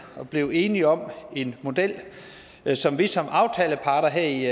og er blevet enige om en model som vi som aftaleparter her i